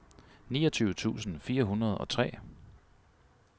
niogtyve tusind fire hundrede og tre